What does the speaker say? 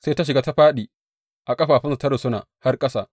Sai ta shiga, ta fāɗi a ƙafafunsa ta rusuna har ƙasa.